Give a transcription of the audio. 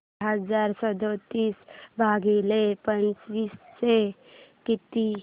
चार हजार सदतीस भागिले पंच्याऐंशी किती